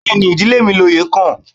Bẹ́ẹ̀ni, ìdílé mi ni oyè kàn